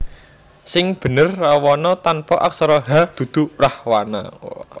Sing bener Rawana tanpa aksara h dudu Rahwana